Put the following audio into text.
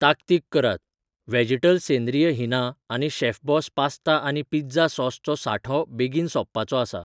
ताकतीक करात, व्हॅजीटल सेंद्रीय हीना आनी शेफबॉस पास्ता आनी पिझ्झा सॉस चो सांठो बेगीन सोंपपाचो आसा.